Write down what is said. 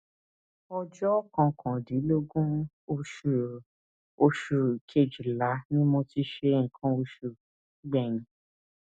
ọjọ kọkàndínlógún oṣù oṣù kejìlá ni mo ti ṣe nǹkan oṣù gbẹyìn